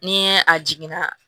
Ni a jiginna